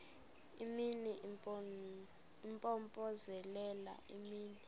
imini impompozelela imini